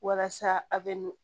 Walasa a bɛ nugu